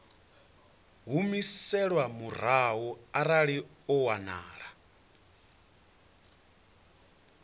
humiselwa murahu arali ho wanala